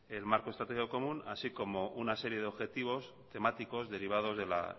el marco estratégico común así como una serie de objetivos temáticos derivados de la